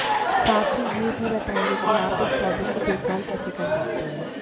साथ ही ये भी बताएंगे कि आप इस पौधे की देखभाल कैसे कर सकते हैं